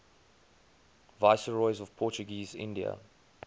viceroys of portuguese india